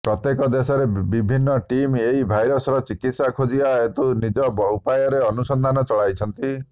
ପ୍ରତ୍ୟେକ ଦେଶରେ ବିଭିନ୍ନ ଟିମ୍ ଏହି ଭାଇରସର ଚିକିତ୍ସା ଖୋଜିବା ହେତୁ ନିଜ ଉପାୟରେ ଅନୁସନ୍ଧାନ ଚଳାଇଛନ୍ତି